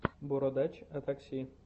бородач о такси